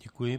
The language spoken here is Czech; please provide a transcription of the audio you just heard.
Děkuji.